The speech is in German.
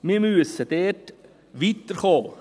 Wir müssen dort weiterkommen.